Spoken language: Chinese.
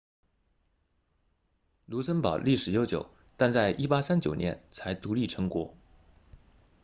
卢森堡历史悠久但在1839年才独立成国